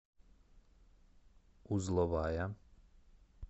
узловая